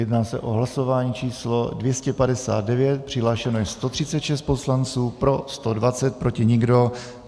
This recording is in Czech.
Jedná se o hlasování číslo 259, přihlášeno je 136 poslanců, pro 120, proti nikdo.